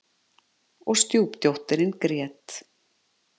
Og stjúpdóttirin grét.